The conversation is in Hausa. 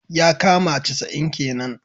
yakama casa'in kenan.